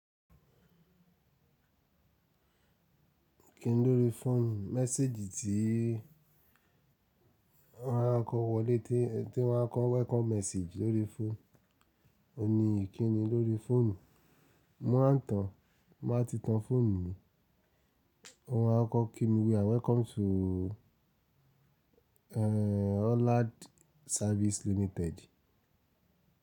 Kí ni lórí fóònù? Mẹ́séjì tí àwọn akọwọlé tí wọ́n kọ́ welcome message lórí fóònù, o ní kí ni lórí fóònù? Mo máa ń tan, nba ti tan fóònù mi, àwọn akọkọ mi wí “Welcome to, eh, Hollad Service Limited”.